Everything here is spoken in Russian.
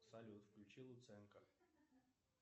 салют включи луценко